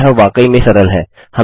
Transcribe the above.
अब यह वाकई में सरल है